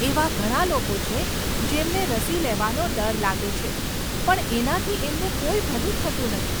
એવા ઘણા લોકો છે જેમને રસી લેવાનો ડર લાગે છે પણ એનાથી એમનું કોઈ ભલું થતું નથી.